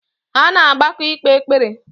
Ha na-agbakọ ikpe ekpere